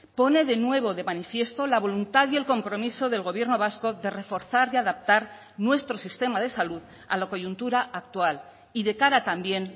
pone de nuevo de manifiesto la voluntad y el compromiso del gobierno vasco de reforzar y adaptar nuestro sistema de salud a la coyuntura actual y de cara también